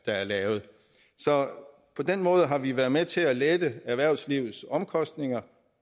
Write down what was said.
er lavet så på den måde har vi været med til at lette erhvervslivets omkostninger